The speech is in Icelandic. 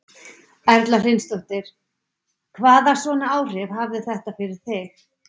Erla Hlynsdóttir: Hvaða svona áhrif hafði þetta fyrir þig?